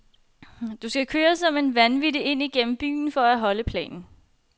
Du skal køre som en vanvittig ind gennem byen for at holde planen.